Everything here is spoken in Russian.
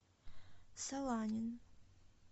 соланин